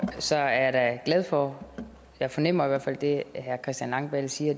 så er jeg da glad for og jeg fornemmer i hvert fald at det herre christian langballe siger